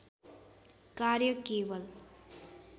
कार्य केवल